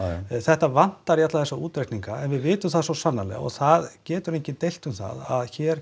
þetta vantar í alla þessa útreikninga en við vitum það svo sannarlega og það getur enginn deilt um það að hér